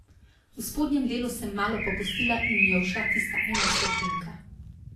V spodnjem delu sem malo popustila in mi je ušla tista ena stotinka.